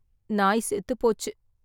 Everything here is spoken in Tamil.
நாய் செத்துப் போச்சு.